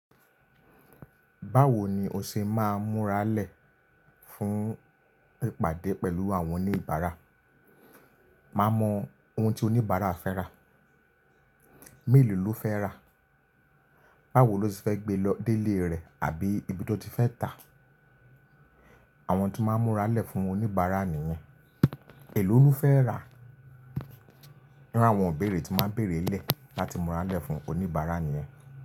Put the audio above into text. Báwo ni o ṣe máa ń múra lẹ̀ fún ìpàdé pẹ̀lú àwọn oníbàárà? Má mọ ohun tí oníbàárà fẹ́ rà, mélòó ló fẹ́ rà, báwo ló se fẹ́ gbé lọ, dé ilé rẹ̀ àbí ibi tó ti fẹ́ tà. Àwọn tí n máa ń múra lẹ̀ fún oníbàárà nìyẹn. Elo ló fẹ́ rà. Ní ru àwọn ibèré tí máa ń bèèrè lẹ láti múra lẹ̀ fún oníbàárà nìyẹn.